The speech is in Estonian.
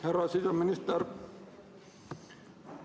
Härra siseminister!